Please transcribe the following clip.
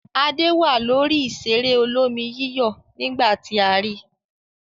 Adé wà lórí ìṣeré olómi-yíyọ̀ nígbà tí a ri.